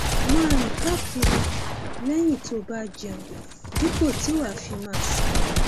máa rìn káàkiri lẹyìn tó o bá jẹun dípò tí wàá fi máa sinmi